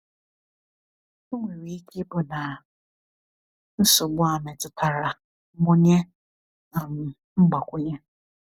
Ò nwere ike ịbụ na nsogbu a metụtara mmụnye um mgbakwunye?”